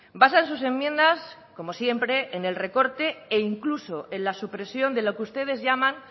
basan sus enmiendas como siempre en el recorte e incluso en la supresión de lo que ustedes llaman